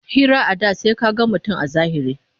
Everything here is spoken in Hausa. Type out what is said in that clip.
Hira a da sai ka gan mutum a zahiri